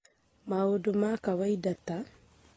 Maũndũ ma kawaida ta: